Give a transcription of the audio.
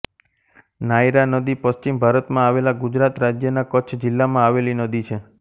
નાયરા નદી પશ્ચિમ ભારતમાં આવેલા ગુજરાત રાજ્યના કચ્છ જિલ્લામાં આવેલી નદી છે